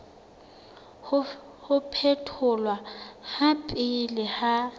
ho phetholwa ha pele ha